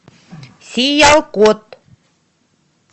сиялкот